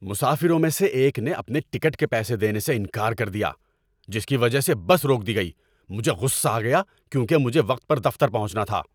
مسافروں میں سے ایک نے اپنے ٹکٹ کے پیسے دینے سے انکار کر دیا، جس کی وجہ سے بس روک دی گئی۔ مجھے غصہ آ گیا کیونکہ مجھے وقت پر دفتر پہنچنا تھا۔